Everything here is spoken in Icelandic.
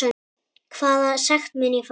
Hvaða sekt mun ég fá?